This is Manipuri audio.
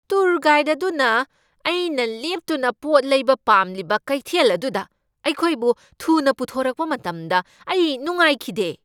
ꯇꯨꯔ ꯒꯥꯏꯗ ꯑꯗꯨꯅ ꯑꯩꯅ ꯂꯦꯞꯇꯨꯅ ꯄꯣꯠ ꯂꯩꯕ ꯄꯥꯝꯂꯤꯕ ꯀꯩꯊꯦꯜ ꯑꯗꯨꯗ ꯑꯩꯈꯣꯏꯕꯨ ꯊꯨꯅ ꯄꯨꯊꯣꯔꯛꯄ ꯃꯇꯝꯗ ꯑꯩ ꯅꯨꯡꯉꯥꯏꯈꯤꯗꯦ ꯫